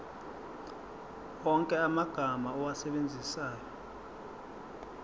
wonke amagama owasebenzisayo